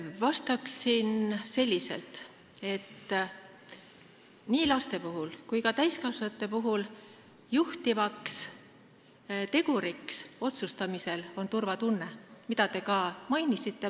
Vastan selliselt, et nii laste kui ka täiskasvanute puhul on otsustamisel juhtiv tegur turvatunne, mida te ka mainisite.